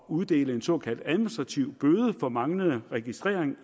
uddele en såkaldt administrativ bøde for manglende registrering